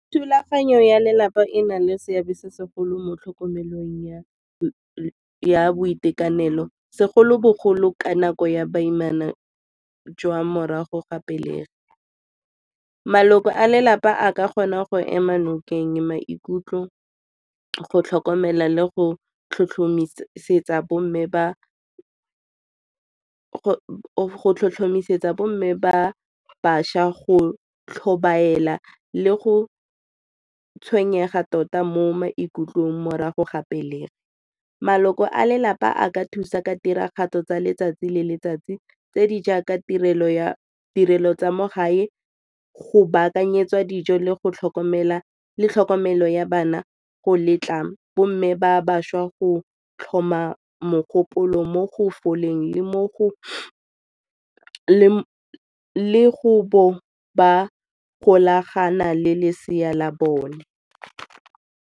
Thulaganyo ya lelapa e na le seabe se segolo mo tlhokomelong ya boitekanelo segolobogolo ka nako ya baimana jwa morago ga pelegi. Maloko a lelapa a ka kgona go ema nokeng, maikutlo, go tlhokomela le go tlhotlhomisetsa bomme ba bašwa go tlhobaela le go tshwenyega tota mo maikutlong morago ga pelegi. Maloko a lelapa a ka thusa ka tiragatso tsa letsatsi le letsatsi tse di jaaka tirelo tsa mo gae go baakanyetsa dijo le tlhokomelo ya bana go letla bomme ba bašwa go tlhoma mogopolo mo go foleng le go ba golagana le lesea la bone.